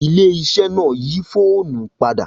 Ilé iṣẹ́ náà yí fóònù padà